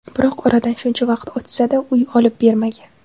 Biroq oradan shuncha vaqt o‘tsa-da, uy olib bermagan.